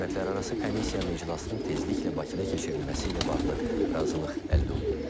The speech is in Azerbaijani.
Hökumətlərarası komissiyanın iclasının tezliklə Bakıda keçirilməsi ilə bağlı razılıq əldə olunub.